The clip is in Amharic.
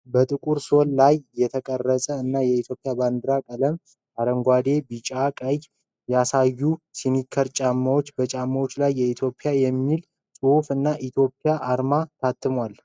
በጥቁር ሶል ላይ የተቀረጹ እና የኢትዮጵያን ባንዲራ ቀለሞች (አረንጓዴ፣ ቢጫና ቀይ) ያሳዩ ስኒከር ጫማዎችን ። በጫማዎቹ ላይ 'ኢትዮጵያ' የሚል ጽሑፍ እና የኢትዮጵያ አርማ ታትሟል።